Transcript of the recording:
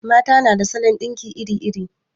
Mata na da salon ɗinki iri iri